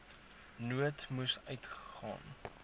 nood moes uitgaan